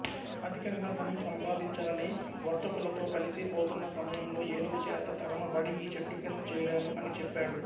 అధికంగా ధనం సంపాదించాలని వర్తకులతో కలిసి పోతున్న సమయంలో ఏనుగు చేత తరమబడి ఈ చెట్టుకింద చేరాను అని చెప్పాడు